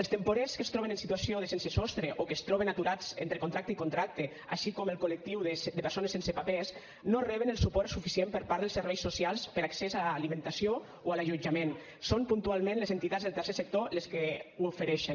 els temporers que es troben en situació de sense sostre o que es troben aturats entre contracte i contracte així com el col·lectiu de persones sense papers no reben el suport suficient per part dels serveis socials per a accés a alimentació o a l’allotjament són puntualment les entitats del tercer sector les que els ho ofereixen